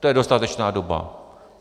To je dostatečná doba.